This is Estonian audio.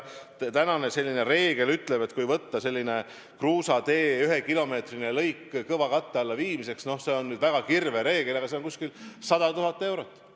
Tänane reegel ütleb, et kruusatee ühekilomeetrise lõigu kõvakatte alla viimine – see on nüüd kirvereegel – on umbes 100 000 eurot.